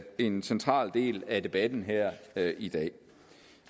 en central del af debatten her i dag